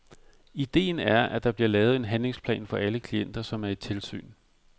Idéen er, at der bliver lavet en handlingsplan for alle klienter, som er i tilsyn.